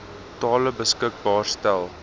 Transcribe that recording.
tale beskikbaar stel